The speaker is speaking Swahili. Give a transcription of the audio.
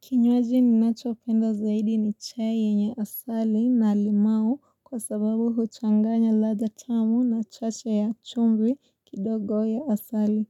Kinywaji ninacho penda zaidi ni chai yenye asali na limau kwa sababu huchanganya ladha tamu na chache ya chumvi kidogo ya asali.